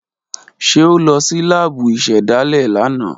Ṣe o lọ si laabu isedale lana?